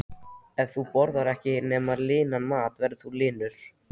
Ef þú borðar ekkert nema linan mat verður þú linur.